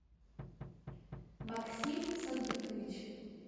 максим садыкович